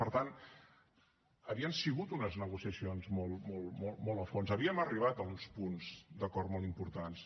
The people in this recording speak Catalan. per tant havien sigut unes negociacions molt a fons havíem arribat a uns punts d’acord molt importants